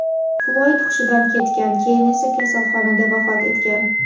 Floyd hushidan ketgan, keyin esa kasalxonada vafot etgan .